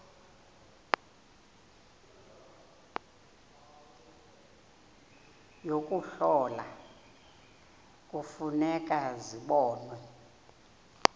yokuhlola kufuneka zibonwe